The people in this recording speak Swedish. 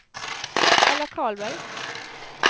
Ella Karlberg